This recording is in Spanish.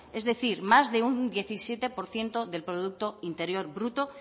es decir más de un diecisiete por ciento del producto interior bruto